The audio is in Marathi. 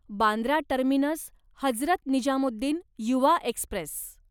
Bandra terminus Hazrat Nizamuddin Yuva Express